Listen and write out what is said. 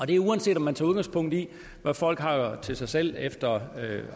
det uanset om man tager udgangspunkt i hvad folk har til sig selv efter